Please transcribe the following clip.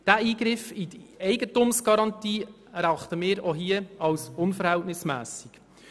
Diesen Eingriff in die Eigentumsgarantie erachten wir auch hier als unverhältnismässig.